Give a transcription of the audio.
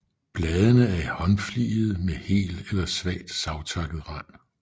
Bladene er håndfligede med hel eller svagt savtakket rand